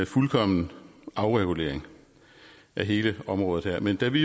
fuldkommen afregulering af hele området her men da vi